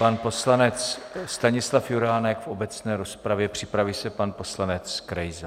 Pan poslanec Stanislav Juránek v obecné rozpravě, připraví se pan poslanec Krejza.